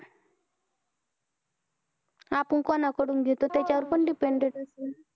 आपण कोणाकडून घेतो त्याच्यावर पण depended आहे. हा.